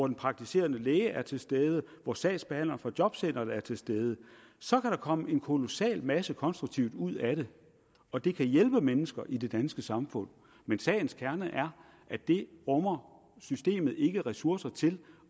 den praktiserende læge er til stede og sagsbehandleren fra jobcenteret er til stede så kan der komme en kolossal masse konstruktivt ud af det og det kan hjælpe mennesker i det danske samfund men sagens kerne er at det rummer systemet ikke ressourcer til